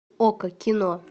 окко кино